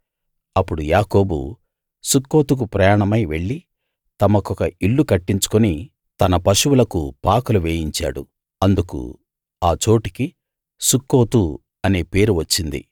అప్పుడు యాకోబు సుక్కోతుకు ప్రయాణమై వెళ్లి తమకొక ఇల్లు కట్టించుకుని తన పశువులకు పాకలు వేయించాడు అందుకు ఆ చోటికి సుక్కోతు అనే పేరు వచ్చింది